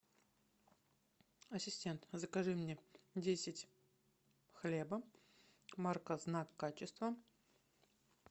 ассистент закажи мне десять хлеба марка знак качества